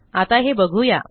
आता हे बघू या